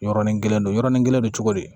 Yɔrɔnin kelen don yɔrɔnin kelen don cogo di